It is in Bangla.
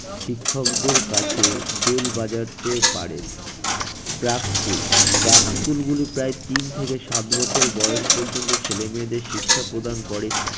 শিক্ষকদের কাছে bell বাজাতে পারে। প্রাক school প্রাক school গুলি প্রায় তিন থেকে সাত বছর বয়স পর্যন্ত ছেলে মেয়েদের শিক্ষা প্রদান করে,